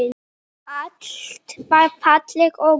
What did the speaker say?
Allt var fallegt og gott.